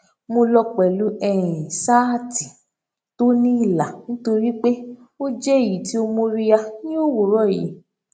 mo lọ pẹlú um ṣáàtì tó ní ìlà nítorí pé ó jẹ èyí tí ó móríyá ní òwúrọ yìí